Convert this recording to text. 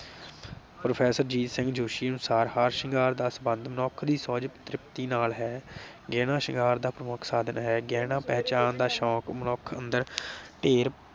professor Jeet Singh Joshi ਅਨੁਸਾਰ ਹਾਰ ਸ਼ਿੰਗਾਰ ਦਾ ਸੰਬੰਧ ਮਨੁੱਖ ਦੀ ਸੋਹਜ ਤ੍ਰਿਪਤੀ ਨਾਲ ਹੈ। ਗਹਿਣਾ ਸ਼ਿੰਗਾਰ ਦਾ ਪ੍ਰਮੁੱਖ ਸਾਧਨ ਹੈ। ਗਹਿਣਾ ਪਹਿਚਾਣ ਦਾ ਸ਼ੌਕ ਮਨੁੱਖ ਅੰਦਰ ਢੇਰ